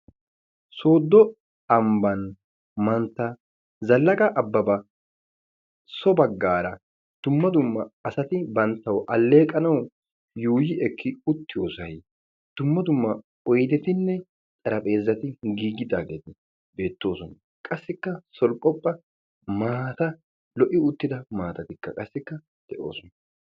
Soodo amba mantta Zalaqqa Ababa so baggara dumma dumma asati banttaw aleeqanaw yuuyi ekki uttiyoosay dumma dumma oydetinne xaraphezzati giigi uttageeti beettoosona. qassikka sorphopha maatay lo'i uttida maatatikka de'oosona.